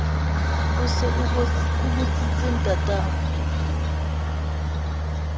o se o botsitse ntatao